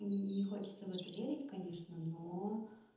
не хочется в это верить конечно но